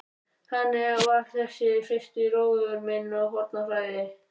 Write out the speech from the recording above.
Þannig var þessi fyrsti róður minn á Hornafirði.